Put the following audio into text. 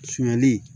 Sumali